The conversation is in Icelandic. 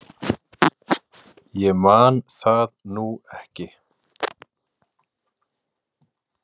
Ég man það nú ekki.